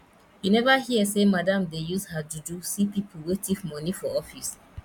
you neva hear sey madam dey use her juju see pipu wey tif moni for office